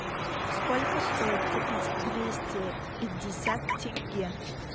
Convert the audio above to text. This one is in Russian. сколько стоит купить двести пятьдесят тенге